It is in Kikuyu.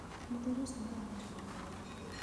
Mũthuri ũcio nĩ aragũrire ngari.